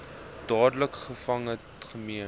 dadelik gevange geneem